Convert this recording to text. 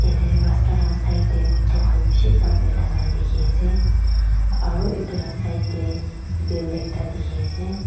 ete rasta laka side tae auto khan bishi park kurina thaka la dikhiase aro edu la side tae building ekta dikhiase.